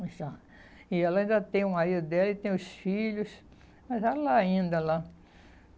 E ela ainda tem o marido dela e tem os filhos, mas ela ainda lá.